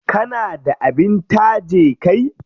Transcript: Kana da abin taje kai?